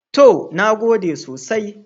To, na gode sosai.